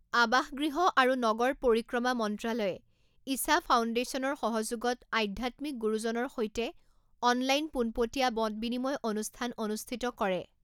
আৱাসগৃহ আৰু নগৰ পৰিক্ৰমা মন্ত্ৰালয়ে ঈশা ফাওণ্ডেশ্যনৰ সহযোগত আধ্যাত্মিক গুৰুজনৰ সৈতে অনলাইন পোনপটীয়া মত বিনিময় অনুষ্ঠান অনুষ্ঠিত কৰে